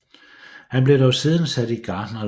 Han blev dog siden sat i gartnerlære